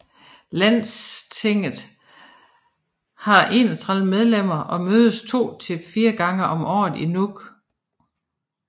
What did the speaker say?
Landstinget har 31 medlemmer og mødes to til fire gange om året i Nuuk